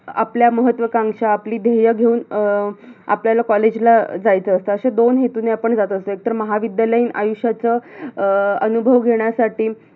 आपल्या महत्वकांक्षा, आपली ध्येय घेऊन अं आपल्याला college ला जायचं असत अशा दोन हेतूने आपण जात असतो एकतर महाविद्यालयीन आयुष्याच अं अनुभव घेण्यासाठी